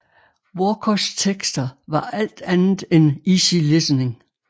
Walkers tekster var alt andet end easy listening